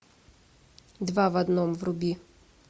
два в одном вруби